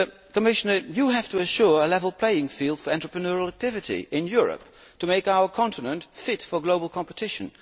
Commissioner, you have to assure a level playing field for entrepreneurial activity in Europe to make our continent fit for global competition.